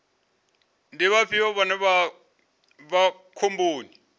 ndi vhafhio vhane vha vha khomboni